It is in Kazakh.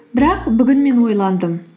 бірақ бүгін мен ойландым